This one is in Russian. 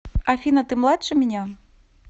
афина ты младше меня